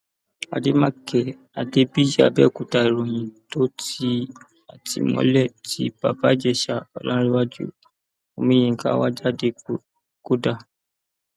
àdèmàkè adébíyì abẹòkúta ìròyìn tó ti àtìmọlé tí bàbá ìjẹsà ọlárèwájú omiyinka wá jáde kò dáa